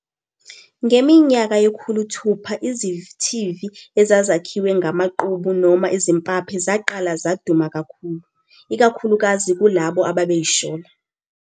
Ngeminyaka yekhuluthupha izithivi ezazakhiwe ngamaqubu noma izimpaphe zaqala zaduma kakhulu, ikakhulukazi kulabo ababeyishola.